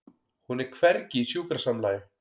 Hún er hvergi í sjúkrasamlagi.